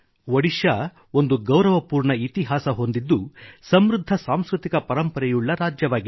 ಒಡಿಶಾ ಒಂದು ಗೌರವಪೂರ್ಣ ಇತಿಹಾಸ ಹೊಂದಿದ್ದು ಸಮೃದ್ಧ ಸಾಂಸ್ಕೃತಿಕ ಪರಂಪರೆಯುಳ್ಳ ರಾಜ್ಯವಾಗಿದೆ